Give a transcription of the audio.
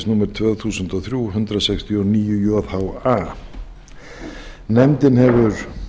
evrópusambandsins númer tvö þúsund og þrjú hundrað sextíu og níu jha nefndin hefur